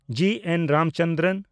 ᱡᱤ. N. Ramchandran